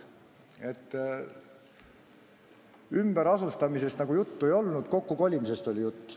Ümberasustamisest nagu juttu ei olnud, kokkukolimisest oli juttu.